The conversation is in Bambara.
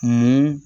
Mun